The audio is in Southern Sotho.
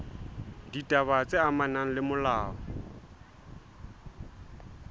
ditaba tse amanang le molao